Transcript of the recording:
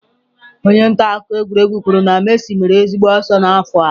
Onye nta akụkọ egwuregwu kwuru na Messi mere ezigbo ọsọ n'afọ a